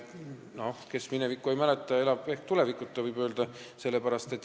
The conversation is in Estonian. No kes minevikku ei mäleta, elab tulevikuta, võib öelda.